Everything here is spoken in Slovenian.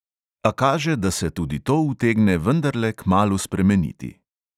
A kaže, da se tudi to utegne vendarle kmalu spremeniti.